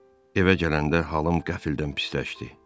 Evə gələndə halım qəflətən pisləşdi.